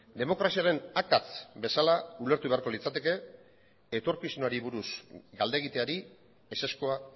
demokraziaren akats bezala ulertu beharko litzateke etorkizunari buruz galdegiteari ezezkoa